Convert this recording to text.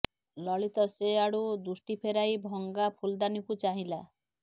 ଲଳିତ ସେ ଆଡ଼ୁ ଦୃଷ୍ଟି ଫେରାଇ ଭଙ୍ଗା ଫୁଲଦାନୀକୁ ଚାହିଁଲା